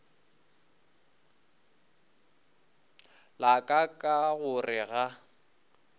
la ka ka gore ga